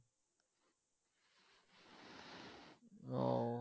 উহ